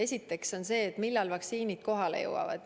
Esiteks see, millal vaktsiinid kohale jõuavad.